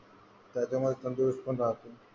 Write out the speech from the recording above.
त्याच्यामुळे तंदुरुस्तपण राहतो.